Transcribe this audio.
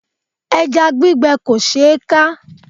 Ẹja gbígbẹ kò ṣe é ká.